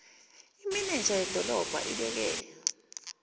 imenenja yedolobha ibeke